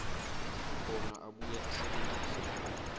bona abuye asebentise